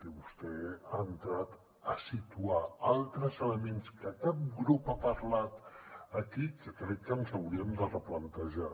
i vostè ha entrat a situar altres elements de què cap grup ha parlat aquí que crec que ens hauríem de replantejar